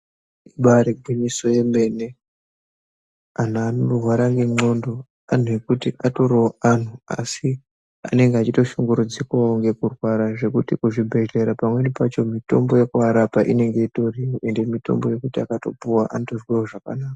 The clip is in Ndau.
Ibari gwinyiso yemene antu anorwara nendxondo antu ekuti atorivo antu. Asi anenge achitoshungurudzikavo ngekurwara zvekuti kuzvibhedhleya pamweni pacho mitombo yekuvarapa inenge itorimwo. Ende mitombo yekuti akatopuva anotozwavo zvakanaka.